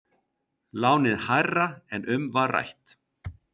Lánið hærra en um var rætt